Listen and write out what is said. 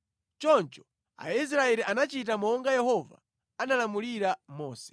Choncho Aisraeli anachita monga Yehova analamulira Mose.